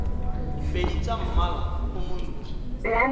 pedi tsa mmala o montsho